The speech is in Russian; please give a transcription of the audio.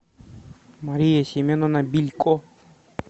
мария семеновна билько